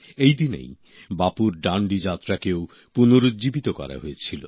এই দিনেই বাপুর ডাণ্ডি যাত্রাকেও পুনরুর্জীবিত করা হয়েছিল